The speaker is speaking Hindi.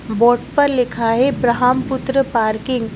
बोट पर लिखा है ब्रह्मपुत्र पार्किंग --